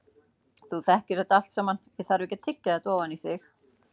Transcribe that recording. Þú þekkir þetta allt saman, ég þarf ekki að tyggja þetta ofan í þig.